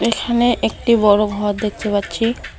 এখানে একটি বড় ঘর দেখতে পাচ্ছি।